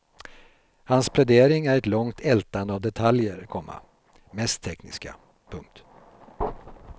Hans plädering är ett långt ältande av detaljer, komma mest tekniska. punkt